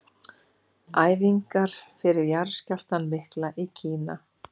Æfingar fyrir jarðskjálftann mikla í Kína.